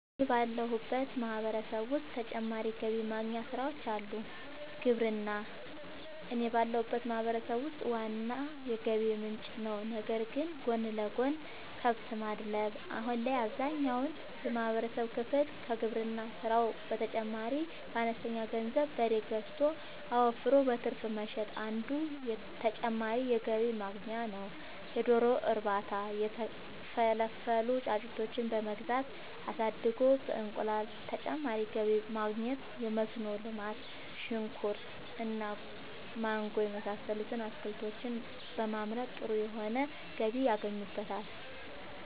አወ እኔ ባለሁበት ማህበረሰብ ዉስጥ ተጨማሪ ገቢ ማግኛ ስራወች አሉ። ግብርና እኔ ባለሁበት ማህበረሰብ ውስጥ ዋና የገቢ ምንጭ ነዉ ነገር ግን ጎን ለጎን :- ከብት ማድለብ :- አሁን ላይ አብዛኛውን የማህበረሰብ ክፍል ከግብርና ስራው በተጨማሪ በአነስተኛ ገንዘብ በሬ ገዝቶ አወፍሮ በትርፍ መሸጥ አንዱ ተጨማሪ የገቢ ማግኛ ነዉ የዶሮ እርባታ:- የተፈለፈሉ ጫጩቶችን በመግዛት አሳድጎ በእንቁላል ተጨማሪ ገቢ ማግኘት የመስኖ ልማት :-ሽንኩርት እና ማንጎ የመሳሰሉት አትክልቶችን በማምረት ጥሩ የሆነ ገቢ ያገኙበታል